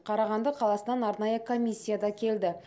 қарағанды қаласынан арнайы комиссия да келді